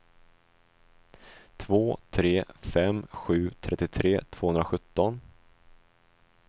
två tre fem sju trettiotre tvåhundrasjutton